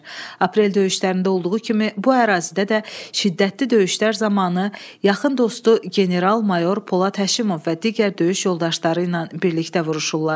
Aprel döyüşlərində olduğu kimi bu ərazidə də şiddətli döyüşlər zamanı yaxın dostu general-mayor Polad Həşimov və digər döyüş yoldaşları ilə birlikdə vuruşurlar.